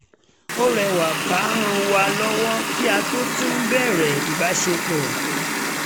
ọ̀rẹ́ wa kan ràn wá lọ́wọ́ kí a tó tún bẹ̀rẹ̀ ìbáṣepọ̀